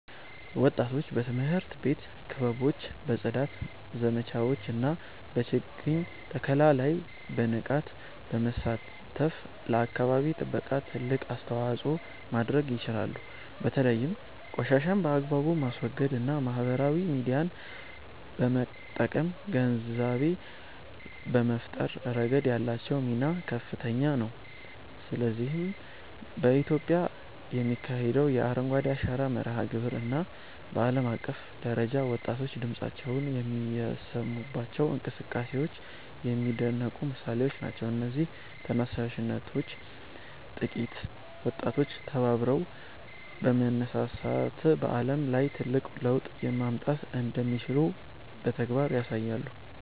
ወጣቶች በትምህርት ቤት ክበቦች፣ በጽዳት ዘመቻዎች እና በችግኝ ተከላ ላይ በንቃት በመሳተፍ ለአካባቢ ጥበቃ ትልቅ አስተዋጽኦ ማድረግ ይችላሉ። በተለይም ቆሻሻን በአግባቡ በማስወገድ እና ማህበራዊ ሚዲያን በመጠቀም ግንዛቤ በመፍጠር ረገድ ያላቸው ሚና ከፍተኛ ነው። ለዚህም በኢትዮጵያ የሚካሄደው የ"አረንጓዴ አሻራ" መርሃ ግብር እና በዓለም አቀፍ ደረጃ ወጣቶች ድምፃቸውን የሚያሰሙባቸው እንቅስቃሴዎች የሚደነቁ ምሳሌዎች ናቸው። እነዚህ ተነሳሽነቶች ጥቂት ወጣቶች ተባብረው በመነሳት በዓለም ላይ ትልቅ ለውጥ ማምጣት እንደሚችሉ በተግባር ያሳያሉ